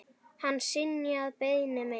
Hann synjaði beiðni minni.